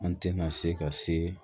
An tɛna se ka se